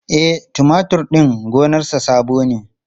E, tumatur din gonarsa sabo ne.